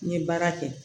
N ye baara kɛ